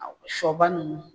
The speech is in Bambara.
Shɔba nunnu.